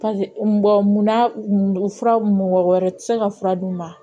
munna fura mɔgɔ wɛrɛ tɛ se ka fura d'u ma